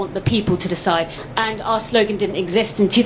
I want the people to decide. And our slogan didn't exist in